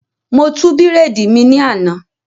Mo tú bírèèdì mi ní àná